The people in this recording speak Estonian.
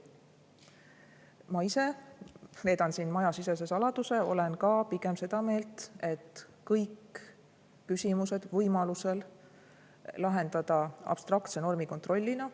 Ma ise – reedan siin majasisese saladuse – olen ka pigem seda meelt, et kõik küsimused võiks võimalusel lahendada abstraktse normikontrollina.